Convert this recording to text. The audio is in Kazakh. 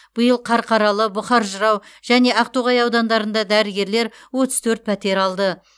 биыл қарқаралы бұқар жырау және ақтоғай аудандарында дәрігерлер отыз төрт пәтер алды